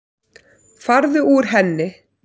Farðu úr henni.